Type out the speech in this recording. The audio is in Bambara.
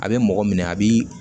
A bɛ mɔgɔ minɛ a b'i